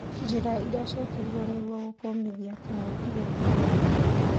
Njìra ici yekirirwr nĩguo gũkũmithia gìkungi kia corona